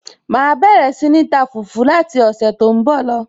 màá bẹ̀rẹ̀ sí ní ta fùfú láti ọ̀sẹ̀ tó ń bọ̀ lọ